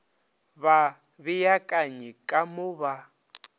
ba beakanye ka mo ba